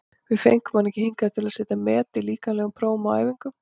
Við fengum hann ekki hingað til að setja met í líkamlegum prófum á æfingum.